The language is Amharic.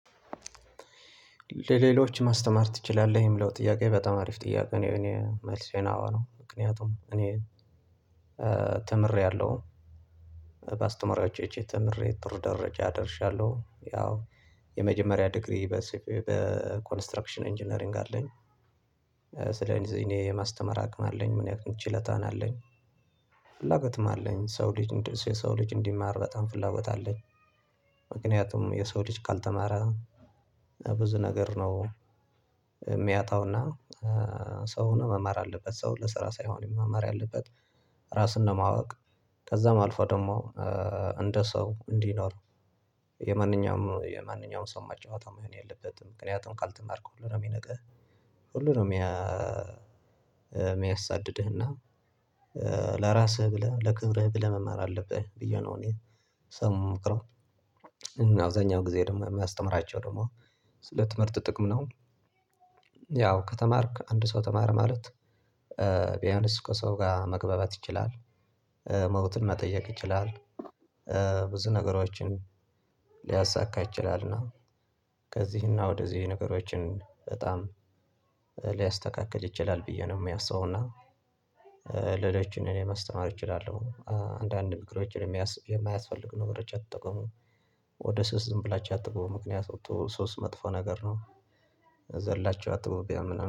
ለሌሎች ማስተማር ትችላለህ የሚለው ጥያቄ በጣም አሪፍ ጥያቄ? እኔ እኔ መልስ ነው አዎ ነው። ምክንያቱም እኔ ተምሬያለሁ በአስተማሪዎች እጅ ተምሬ ጥሩ ደረጃ ደርሻለሁ ያው የመጀመሪያ ዲግሪ በኮንስትራክሽን ኢንጂነሪንግ አለኝ። ስለዚህ እኔ የማስተማር አቅም አለኝ ምን ያክል ችሎታ ነው ያለኝ ፍላጎትም አለኝ ሰው ልጅ እንደዚህ የሰው ልጅ እንዲማር በጣም ፍላጎት አለኝ። ምክንያቱም የሰው ልጅ ካልተማረ ብዙ ነገር ነው የሚያጣውና ሰው ሆኖ መማር አለበት ሰው ለስራ ሳይሆን መማር ያለበት። ራስን ለማወቅ ከዛም አልፎ ደግሞ እንደ ሰው እንዲኖር የማንኛውም የማንኛውም ሰው መጫወቻ መሆን የለበትም። ምክንያቱም ካልተማርክ ሁሉ ነው የሚነቅህ ሁሉ ነው። የሚያሳድድህና ለራስህ ብለህ ለክብርህ ብለህ መማር አለብህ ብዬ ነው እኔ ሰውን ምመክረው። አብዛኛውን ጊዜ ደግሞ ማስተምራቸው ደግሞ ስለ ትምህርት ጥቅም ነው። ያው ከተማርክ አንድ ሰው ተማረ ማለት ቢያንስ ከሰው ጋር መግባባት ይችላል። ሞትን መጠየቅ ይችላል። ብዙ ነገሮችን ሊያሳካ ይችላልና። ከዚህና ወደዚህ ነገሮችን በጣም ይችላል ብዬ ነው የሚያስበው እና ሌሎችን እኔ ማስተማር እችላለሁ። አንዳንድ ምክሮችን የሚያስ የማያስፈልግ ነገሮች አትጠቀሙ ወደ ሱስ ዝም ብላችሁ አትግቡ ምክንያቱ ሱስ መጥፎ ነገር ነው። ዘላችው አትግቡ ቢያምኑ